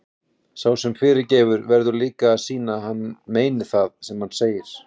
Sá sem fyrirgefur verður líka að sýna að hann meini það sem hann segir.